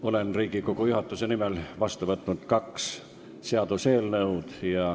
Olen Riigikogu juhatuse nimel vastu võtnud kaks seaduseelnõu.